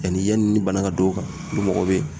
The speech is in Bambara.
Yanni yanni bana ka don u ka , ni mɔgɔ be yen.